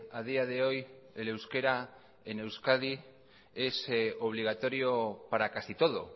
a día de hoy el euskera en euskadi es obligatorio para casi todo